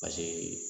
Paseke